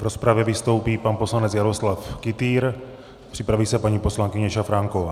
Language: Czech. V rozpravě vystoupí pan poslanec Jaroslav Kytýr, připraví se paní poslankyně Šafránková.